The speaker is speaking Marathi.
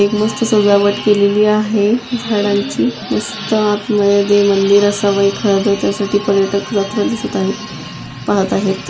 एक मस्त सजावट केलेली आहे झाडांची मस्त आत मध्ये ते मंदिर असावा एखादा त्या साठी पर्यटक जाताना दिसत आहे पाहत आहेत.